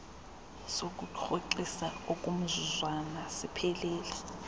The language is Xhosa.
sokurhoxisa okomzuzwana siphelile